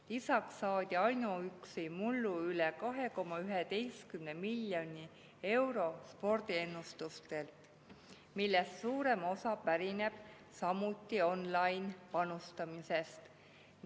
Lisaks saadi ainuüksi mullu üle 2,11 miljoni euro spordiennustuselt, millest suurem osa pärineb samuti online‑panustamisest.